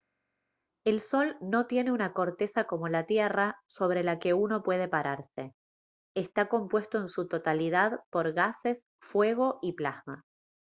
el sol no tiene una corteza como la tierra sobre la que uno pueda pararse está compuesto en su totalidad por gases fuego y plasma